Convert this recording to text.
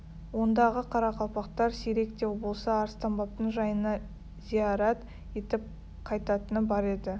ондағы қарақалпақтар сирек те болса арыстанбаптың жайына зиярат етіп қайтатыны бар еді